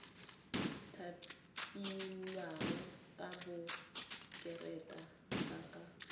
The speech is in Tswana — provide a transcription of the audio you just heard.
thapilweng ka konteraka ba tla